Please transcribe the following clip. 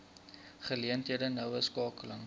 geleenthede noue skakeling